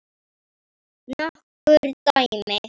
Nokkur dæmi